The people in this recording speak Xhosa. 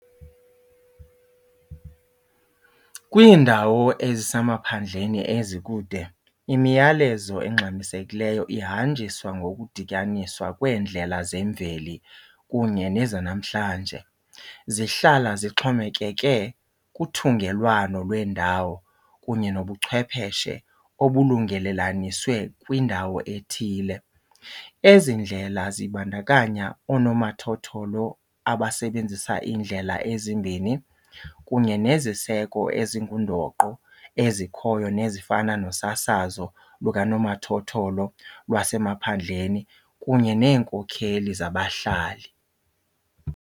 Kwiindawo ezisemaphandleni ezikude imiyalezo engxamisekileyo ihanjiswa ngokudityaniswa kweendlela zemveli kunye nezanamhlanje. Zihlala zixhomekeke kuthungelwano lweendawo kunye nobuchwepheshe obulungelelaniswe kwindawo ethile. Ezi ndlela zibandakanya oonomathotholo abasebenzisa iindlela ezimbini kunye neziseko ezingundoqo ezikhoyo nezifana nosasazo lukanomathotholo lwasemaphandleni kunye neenkokheli zabahlali.